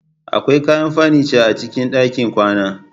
Akwai kayan furniture a cikin ɗakin kwana.